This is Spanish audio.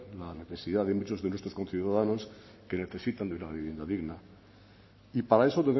la necesidad de muchos de nuestros conciudadanos que necesitan de una vivienda digna y para eso